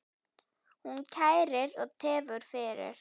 Hún kærir og tefur fyrir.